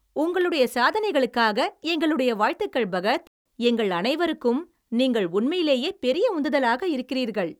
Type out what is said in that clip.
உங்களுடைய சாதனைகளுக்காக எங்களுடைய வாழ்த்துகள், பகத், எங்கள் அனைவருக்கும் நீங்கள் உண்மையிலேயே பெரிய உந்துதலாக இருக்கிறீர்கள்.